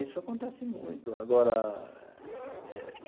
Isso acontece muito agora eh.